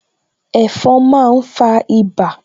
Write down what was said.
Ẹ̀fon máa ń fa ibà